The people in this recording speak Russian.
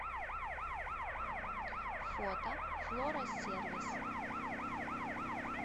фото флора сервис